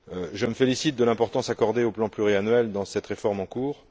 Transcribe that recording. Je me félicite de l'importance accordée au plan pluriannuel dans cette réforme en cours.